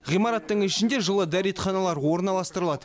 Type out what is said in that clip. ғимараттың ішінде жылы дәретханалар орналастырылады